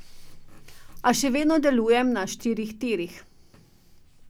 A še vedno delujem na štirih tirih.